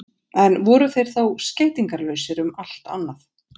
en voru þeir þá skeytingarlausir um allt annað